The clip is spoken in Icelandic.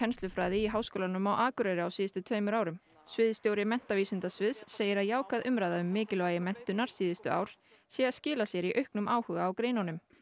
í Háskólanum á Akureyri á síðustu tveimur árum sviðsstjóri menntavísindasviðs segir að jákvæð umræða um mikilvægi menntunar síðustu ár sé að skila sér í auknum áhuga á greinunum